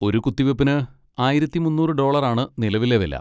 ഒരു കുത്തിവെപ്പിന് ആയിരത്തി മുന്നൂറ് ഡോളറാണ് നിലവിലെ വില.